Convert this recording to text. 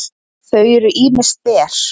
þau eru ýmist ber